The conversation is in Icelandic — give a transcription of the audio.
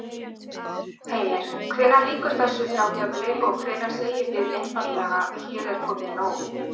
Heimir: Hvenær lýkur þessu þrátefli og hvenær segið þið einfaldlega hér er komið nóg?